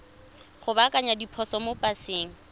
go baakanya diphoso mo paseng